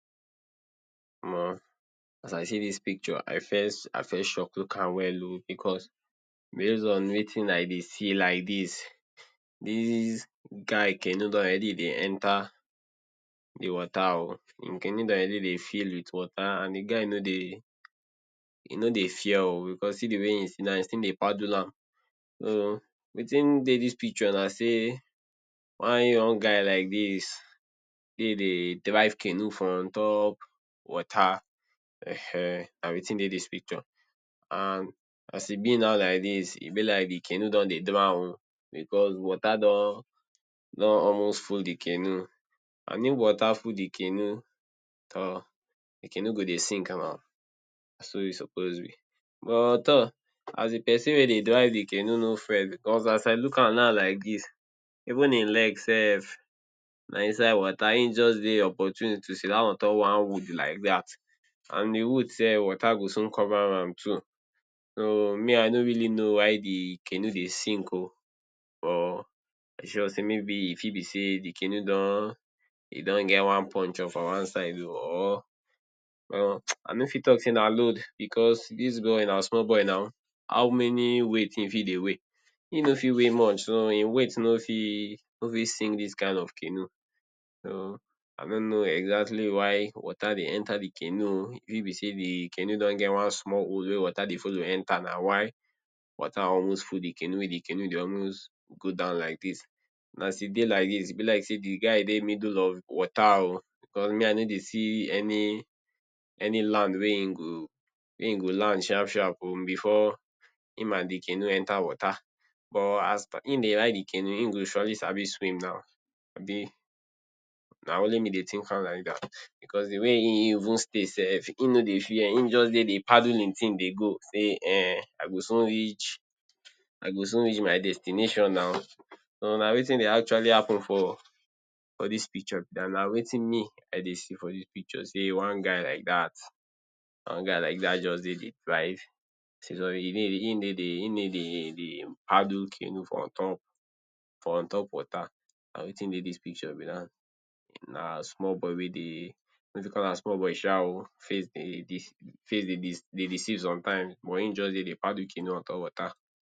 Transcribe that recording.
Omo as I see dis picture I first I first shock look am well um, because based on wetin I dey see like dis, dis guy canoe don already dey enter de water oo, im canoe don already dey fill with water and de guy nor dey he nor dey fear um, because see de way im sidan he still dey paddle am. So wetin dey dis picture na sey one young guy like dis de dey drive canoe for on top water um na wetin dey dis picture and as e be now like dis, e be like de canoe don dey drown oo, because water don almost full de canoe and if water full de canoe tor de canoe go dey sink um na so e suppose be but tor as de person wey dey drive de canoe nor fair, because as I look am now like dis, even im legs self na inside water, him just dey opportune to sidan on top one wood like dat and de wood self water go soon cover am too. So me I nor really know why de canoe dey sink oo but I sure sey maybe e fit be sey de canoe don e don get one puncture for one side oo or I nor fit talk sey na load because dis boy na small boy now, how many weight im fit dey weigh? him nor fit weigh much, so im weight nor fit sink dis kind of canoe. So i nor know exactly why water dey enter de canoe oo e fit be se de canoe don get one small hole wey water dey follow enter na why water almost full de canoe, wey de canoe dey almost go down like dis. As e dey like dis e be like sey de guy dey in de middle of water oo, because me I nor dey see any any land wey im go land sharp sharp oo before him and de canoe enter water but as im dey ride de canoe him go surely sabi swim now, abi na only me dey think am like dat, because de way im im even stay self im nor dey fear, im just dey dey paddle im thing dey go sey um I go soon reach I go soon reach my destination now. So na wetin dey actually happen for dis picture, den na wetin me I dey see for dis pictures, sey one guy like dat one guy like dat just dey dey drive, im dey dey im dey dey paddle de canoe for on top for on top water, na wetin dey dis picture be dat, na small boy wey dey nor too call am small boy sha um, im face dey deceive? dey deceive sometimes but him just dey dey paddle canoe on top water.